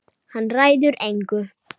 Hann ræður engu.